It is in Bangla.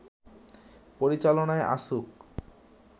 পরিচালনায় আসুক